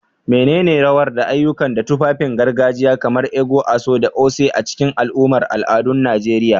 Menene rawar da ayyuka na tufafin gargajiya kamar ẹkú/agọ̀ da oṣé a cikin al'amuran al'adun Najeriya?